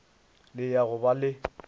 le ya go ba le